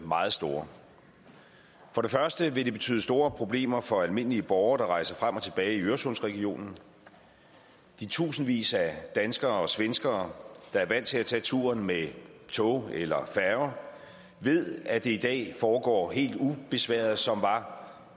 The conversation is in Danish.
meget store for det første vil det betyde store problemer for almindelige borgere der rejser frem og tilbage i øresundsregionen de tusindvis af danskere og svenskere der er vant til at tage turen med tog eller færge ved at det i dag foregår helt ubesværet som var